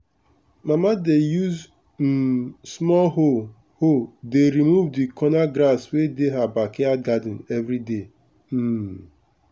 mama dey use um small hoe hoe dey remove the corner grass wey dey her backyard garden every day. um